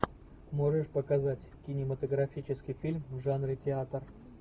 можешь показать кинематографический фильм в жанре театр